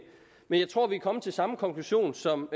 men jeg tror at vi er kommet til samme konklusion som